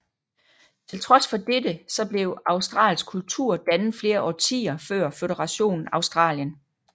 Tiltrods for dette så blev australsk kultur dannet flere årtier før Føderationen Australien